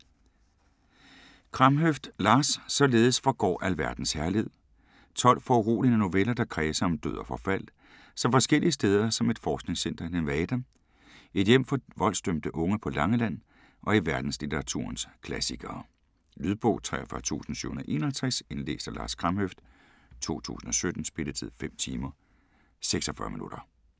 Kramhøft, Lars: Således forgår alverdens herlighed 12 foruroligende noveller, der kredser om død og forfald så forskellige steder som et forskningscenter i Nevada, et hjem for voldsdømte unge på Langeland og i verdenslitteraturens klassikere. Lydbog 43751 Indlæst af Lars Kramhøft, 2017. Spilletid: 5 timer, 46 minutter.